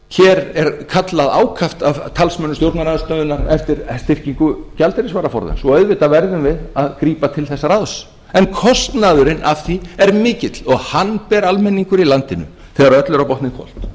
hér er kallað ákaft af talsmönnum stjórnarandstöðunnar eftir gjaldeyrisvaraforða svo auðvitað verðum við að grípa til þess ráðs en kostnaðurinn af því er mikill og hann ber almenningur í landinu þegar öllu er á botninn hvolft